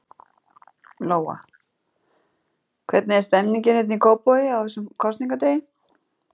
Lóa: Hvernig er stemmningin hérna í Kópavogi, á þessum kosningadegi?